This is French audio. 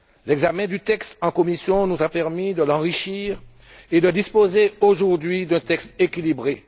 L'examen du texte en commission nous a permis de l'enrichir et de disposer aujourd'hui d'un texte équilibré.